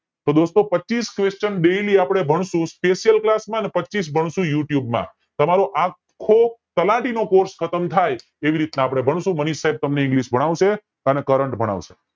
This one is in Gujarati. તો દોસ્તો પચીસ question daily અપડે ભણસું special class માં અને પચીસ ભણસું YOUTUBE માં તમારો આખો તલાટી નો કોર્સ ખતમ થાય એ રીતે અપડે ભનસુ મનીષ સાઇબ તમને english ભણાવશે અને current ભણાવશે